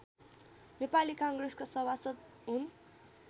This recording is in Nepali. नेपाली काङ्ग्रेसका सभासद हुन्